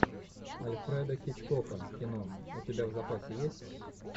альфреда хичкока кино у тебя в запасе есть